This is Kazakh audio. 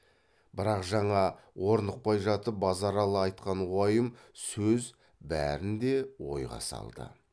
бірақ жаңа орнықпай жатып базаралы айтқан уайым сөз бәрін де ойға салды